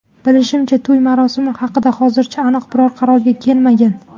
Bilishimizcha, to‘y marosimi haqida hozircha aniq bir qarorga kelinmagan.